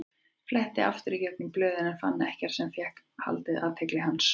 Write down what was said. Fletti aftur í gegnum blöðin en fann ekkert sem fékk haldið athygli hans.